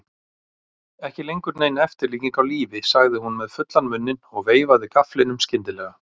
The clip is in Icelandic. Ekki lengur nein eftirlíking af lífi, sagði hún með fullan munninn og veifaði gafflinum skyndilega.